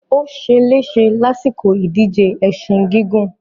Ó se lése lásìkò ìdíje ẹṣin gígùn.